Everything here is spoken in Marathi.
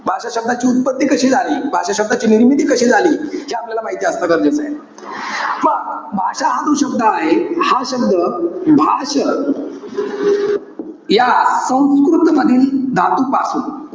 भाषा शब्दाची उत्पत्ती कशी झाली? भाषा शब्दाची निर्मिती कशी झाली, हे आपल्याला माहिती असणं गरजेचंय. मग भाषा हा जो शब्द आहे. हा शब्द भाष, या संस्कृत मधील धातूपासून.